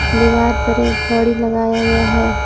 दिवार पर एक घड़ी लगाया गया है।